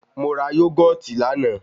Mo ra yógọ̀tì lánàá.